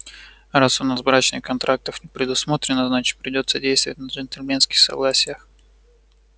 раз у нас брачных контрактов не предусмотрено значит придётся действовать на джентльменских согласиях